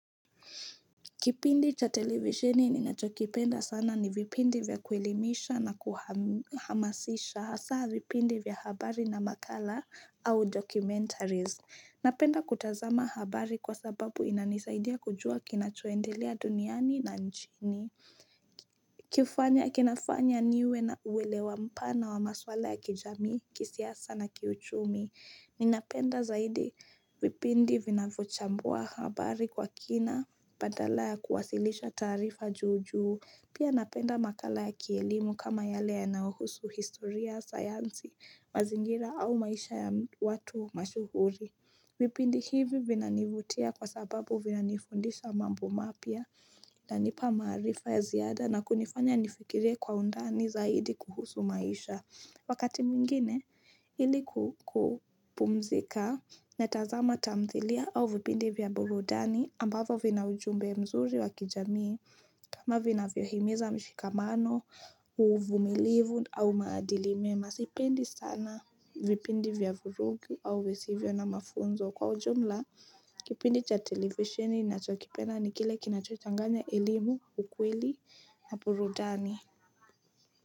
Kipindi cha televisheni ninachokipenda sana ni vipindi vya kuelimisha na kuhamasisha. Hasa vipindi vya habari na makala au documentaries. Napenda kutazama habari kwa sababu inanisaidia kujua kinachoendelea duniani na nchini. Kifanya kinafanya niwe na uwelewa mpana wa maswala ya kijami, kisiasa na kiuchumi. Ninapenda zaidi vipindi vinavyochambua habari kwa kina, badala ya kuwasilisha taarifa juu juu, pia napenda makala ya kielimu kama yale yanayohusu historia, sayansi, mazingira au maisha ya watu mashuhuri. Vipindi hivi vinanivutia kwa sababu vinanifundisha mambo mapya na nipa maarifa ya ziada na kunifanya nifikire kwa undani zaidi kuhusu maisha. Wakati mwingine ili kupumzika natazama tamthilia au vipindi vya burudani ambavyo vina ujumbe mzuri wakijamii kama vinavyohimiza mshikamano, uvumilivu au maadili mema sipendi sana vipindi vya vurugu au visivyo na mafunzo Kwa ujumla, kipindi cha televisioni nachokipenda ni kile kinachochanganya elimu, ukweli na burudani.